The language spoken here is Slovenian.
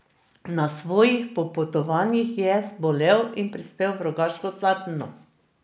Na svojih popotovanjih je zbolel in prispel v Rogaško Slatino.